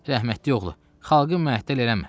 Rəhmətlik oğlu, xalqı məhtəl eləmə.